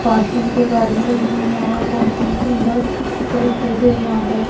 parking पे गाड़ियां लगी हुई हैं और बहोत हि सुंदर तरीके से यहाँ पे--